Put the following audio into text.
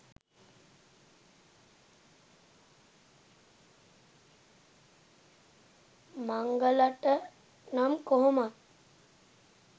මංගලට නම් කොහොමත්